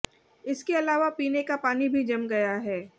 इसके अलावा पीने का पानी भी जम गया है